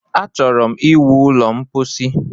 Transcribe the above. Achọrọ ịwu ụlọ ḿkpóchí